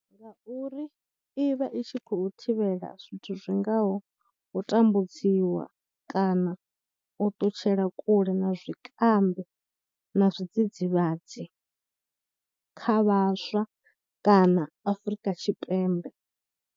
Ngauri i vha i tshi khou thivhela zwithu zwi ngaho u tambudziwa kana u ṱutshela kule na zwikambi na zwidzidzivhadzi kha vhaswa kana Afrika Tshipembe.